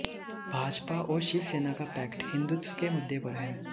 भाजपा और शिवसेना का पैक्ट हिंदुत्व के मुद्दे पर है